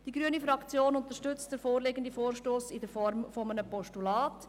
Die grüne Fraktion unterstützt den vorliegenden Vorstoss in der Form eines Postulats.